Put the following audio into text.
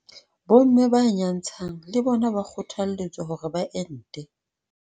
Bomme ba nyantshang le bona ba kgothaletswa hore ba ente.